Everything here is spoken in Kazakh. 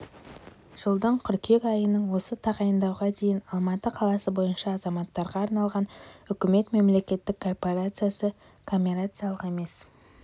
жылдың қыркүйек айынан осы тағайындауға дейін алматы қаласы бойынша азаматтарға арналған үкімет мемлекеттік корпорациясы коммерциялық емес